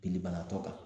Bilibaatɔ kan